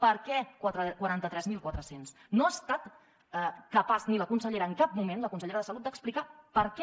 per què quaranta tres mil quatre cents no ha estat capaç ni la consellera en cap moment la consellera de salut d’explicar per què